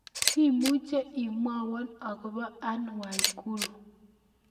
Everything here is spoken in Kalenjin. Imuche imwowon agobo Ann Waiguru